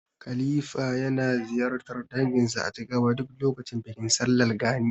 Halifa yana ziyartar danginsa a Jigawa duk lokacin bikin sallar Gani.